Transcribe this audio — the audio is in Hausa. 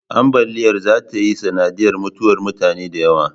Ambaliyar zata yi sanadiyar mutuwar mutane da yawa